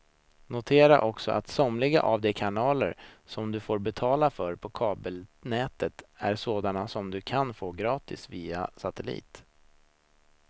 Notera också att somliga av de kanaler som du får betala för på kabelnätet är sådana som du kan få gratis via satellit.